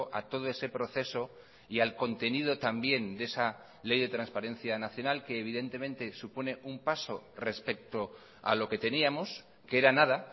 a todo ese proceso y al contenido también de esa ley de transparencia nacional que evidentemente supone un paso respecto a lo que teníamos que era nada